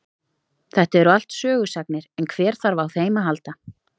Þetta eru allt sögusagnir en hver þarf á þeim að halda.